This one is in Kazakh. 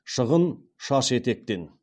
шығын шаш етектен